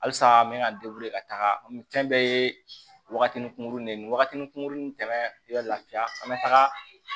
Halisa n bɛ ka ka taga me ye wagatini kunkuruni ni wagatinin kuruni tɛmɛ i ka laafiya